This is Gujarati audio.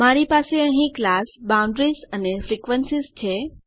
મારી પાસે અહીં ક્લાસ બાઉન્ડરીઝ અને ફ્રીક્વેન્સીઝ છે